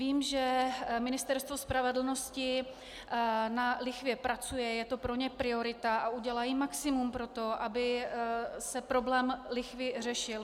Vím, že Ministerstvo spravedlnosti na lichvě pracuje, je to pro ně priorita a udělají maximum pro to, aby se problém lichvy řešil.